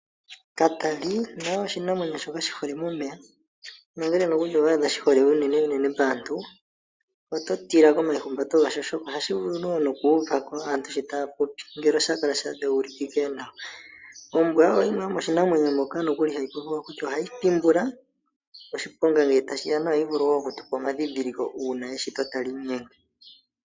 Katali naye oshinamwemyo shoka shi hole momeya nongele megumbo owa adha shi hole unene nene paantu oto tila komaihumbato gasho, oshoka ohashi vulu wo nokuuva ko aantu sho taya popi ngele osha kala sha dheulikika nawa. Ombwa oyo yimwe yomiinamwenyo mbyoka nokuli hatu vulu okutya ohayi thimbula, oshiponga ngele tashi ya nohayi vulu wo oku tupa omandhindhiliko uuna eshito tali inyenge.